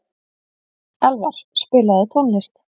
Elvar, spilaðu tónlist.